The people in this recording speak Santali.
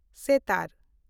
ᱥᱮᱛᱟᱨ